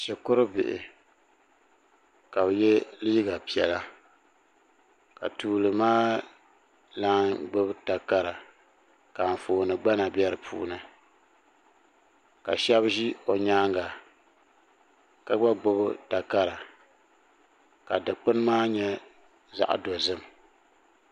Shikuru bihi ka bɛ ye liiga piɛla ka tuuli maa lana gbibi takara ka anfooni gbana be dipuuni ka sheba ʒɛ o nyaanga ka gba gbibi takara ka dikpini maa nyɛ zaɣa dozim.